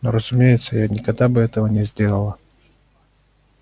ну разумеется я никогда бы этого не сделала